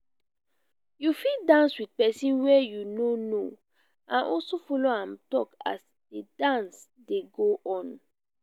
you fit dance with persin wey you no know and also follow am talk as di dance de go on